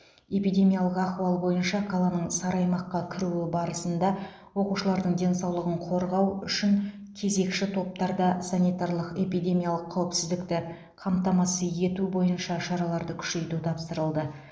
эпидемиялық ахуал бойынша қаланың сары аймаққа кіруі барысында оқушылардың денсаулығын қорғау үшін кезекші топтарда санитарлық эпидемиялық қауіпсіздікті қамтамасыз ету бойынша шараларды күшейту тапсырылды